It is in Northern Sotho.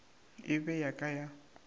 e be ya ka ya